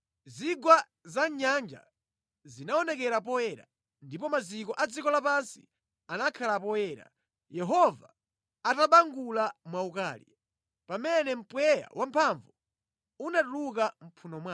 Zigwa za mʼnyanja zinaonekera poyera, ndipo maziko a dziko lapansi anakhala poyera, Yehova atabangula mwaukali, pamene mpweya wamphamvu unatuluka mʼmphuno mwake.